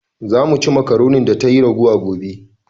"Za mu ci makaronin da tayi ragowa gobe